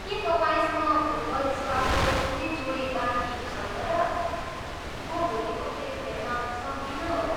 के तपाईँसँग फुटबल स्टडको कुनै जोडी बाँकी छैन र? म भोलिको खेल खेल्न सक्दिनँ होला।